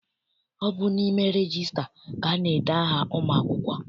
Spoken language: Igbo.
Ọ bụ n'ime regista ka ana-ede aha ụmụ akwụkwọ.